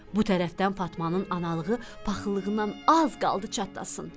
Bu tərəfdən Fatmanın analığı paxıllığından az qaldı çatlasın.